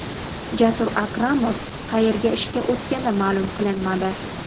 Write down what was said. Jasur Akromov qayerga ishga o‘tgani ma’lum qilinmadi.